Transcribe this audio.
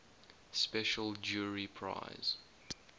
special jury prize